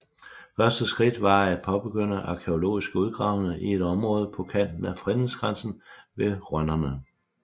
Første skridt var at påbegynde arkæologiske udgravninger i et område på kanten af fredningsgrænsen ved Rønnerne